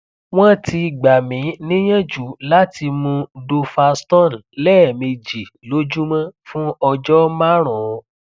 wọn ti gbà mí níyànjú láti mú duphaston lẹẹméjì lójúmọ fún ọjọ márùnún